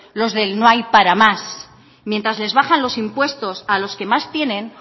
los del no hay para más mientras les bajan los impuestos a los que más tienen